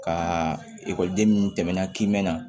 Ka ekɔliden minnu tɛmɛna k'i mɛn